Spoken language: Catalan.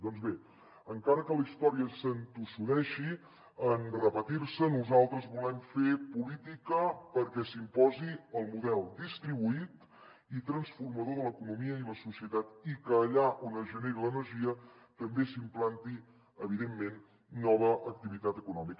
doncs bé encara que la història s’entossudeixi en repetir se nosaltres volem fer política perquè s’imposi el model distribuït i transformador de l’economia i la societat i que allà on es generi l’energia també s’implanti evidentment nova activitat econòmica